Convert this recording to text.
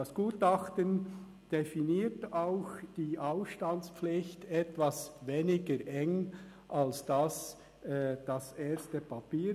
Das Gutachten definiert auch die Ausstandspflicht etwas weniger eng als das erste Papier.